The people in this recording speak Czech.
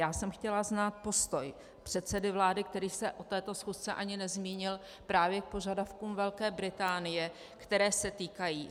Já jsem chtěla znát postoj předsedy vlády, který se o této schůzce ani nezmínil, právě k požadavkům Velké Británie, které se týkají: